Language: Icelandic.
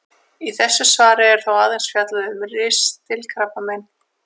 Í þessu svari er þó aðeins fjallað um ristilkrabbamein.